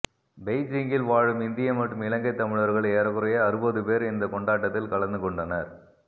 பெய்ஜிங்கில் வாழும் இந்திய மற்றும் இலங்கை தமிழர்கள் ஏறக்குறைய அறுபது பேர் இந்த கொண்டாட்டத்தில் கலந்துக் கொண்டனர்